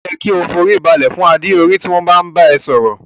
O yẹ ki o fi orí balẹ̀ fún adé orí tí wọn bá n bá ẹ sọ̀rọ̀.